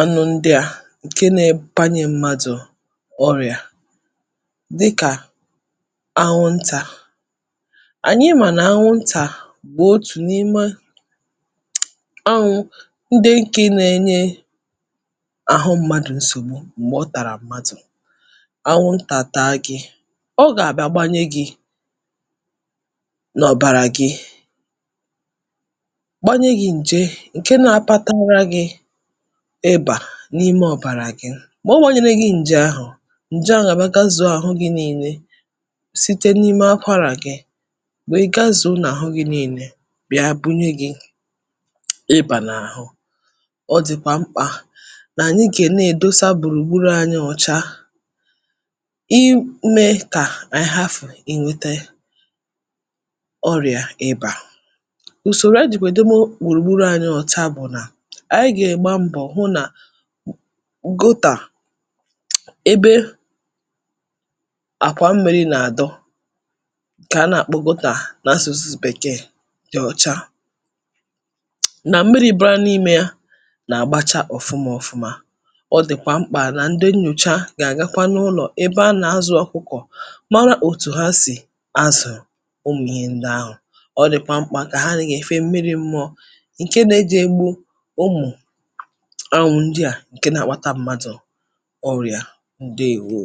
anwụ ndị a ǹke nātanye m̀madụ̀ ọrịà dịkà anwụntà. Ànyị mà nà anwụntà bụ̀ otù n’ime anwụ̄ ndị ǹke nenye àhụ mmadụ̀ nsògbu m̀gbè ọ tàrà mmadụ̀, anwụntà tàa gī ọ gà-àgbagbanye gī n’ọ̀bàrà gị gbanye gī ǹje ǹke nā-agbatara gị̄ ịbà n’ime ọ̀bàrà gị mọ̀ ọ nēnyere gị ǹjahụ̀ ǹje nwère gazùo àhụ gī niilē site n’ime akwarà gị wèe gazùo n’àhụ gī ninē bịa bunye gī ịbà n’àhụ, ọ dị̀kwà mkpà nà ànyị gà ne-èdosa gbùrùgburù ànyị ọ̀cha imē kà ànyị hafụ̀ inwētē ọrịà ịbà. Ùsòrò e jì èdowe gbùrùgburū anyị òcha bụ̀ nà ànyị gà-àgba mbọ̀ hụ nà gotà, ebe àkwà mmīrī nàdọ kàa nàkpọ gọtà n’asụ̀sụ bèkee dị̀ ọ̀cha nà mmirī dọọ n’imē yā nàgbacha ọ̀fụma ọ̀fụma, ọ dị̀kwà mkpà nà ndị nnyòcha gà-àgakwa n’ụlọ̀ ebe a nà-azụ̄ ọ̀kụkọ̀ mara òtù ha sì azụ̀ ụmụ̀ ihe ndị ahụ̀ ọ dị̀kwà mkpà nà há nèfe mmiri mọọ̄ ǹke nejē gbu ụmụ̀ ahụhụ ndị à ǹke nākpata mmadụ̀ ọrịà. Ǹdeèwo